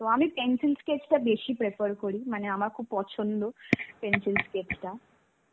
তো আমি pencil sketch টা বেশী prefer করি. মানে, আমার খুব পছন্দ. pencil sketch টা.